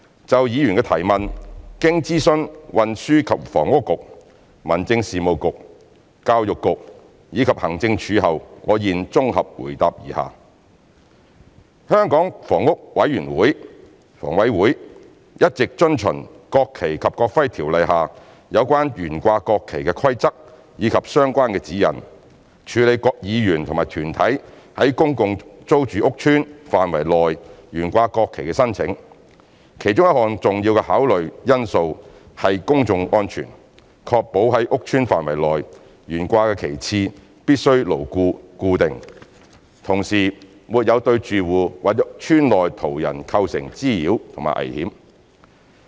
就議員的質詢，經諮詢運輸及房屋局、民政事務局、教育局，以及行政署後，我現綜合答覆如下：一香港房屋委員會一直遵循《國旗及國徽條例》下有關懸掛國旗的規則及相關指引，處理議員或團體於公共租住屋邨範圍內懸掛國旗的申請，其中一項重要考慮因素是公眾安全，確保在屋邨範圍內懸掛的旗幟必須牢固固定，同時沒有對住戶或邨內途人構成滋擾及危險。